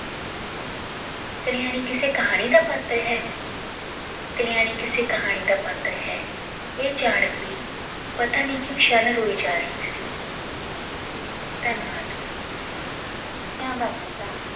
ਕਲਿਆਣੀ ਕਿਸੇ ਕਹਾਣੀ ਦਾ ਪਾਤਰ ਹੈ ਕਲਿਆਣੀ ਕਿਸੇ ਕਹਾਣੀ ਦਾ ਪਾਤਰ ਹੈ ਇਹ ਜਾਨ ਕੇ ਪਤਾਨੀ ਕਯੋਂ ਸ਼ਰਨ ਰੋਈ ਜਾ ਰਹੀ ਸੀ ਧੰਨਵਾਦ ਕੀਤਾ